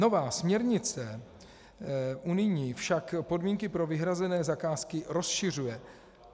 Nová směrnice unijní však podmínky pro vyhrazené zakázky rozšiřuje.